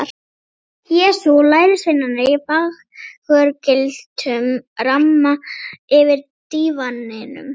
Jesú og lærisveinarnir í fagurgylltum ramma yfir dívaninum.